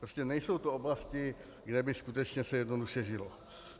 Prostě nejsou to oblasti, kde by se skutečně jednoduše žilo.